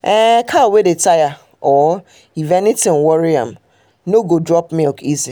cow wey dey tire or if um anything worry am no um go drop milk easy um